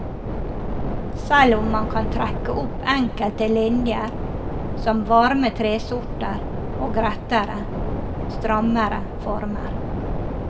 Selv om man kan trekke opp enkelte linjer som varme tresorter og rettere, strammere former.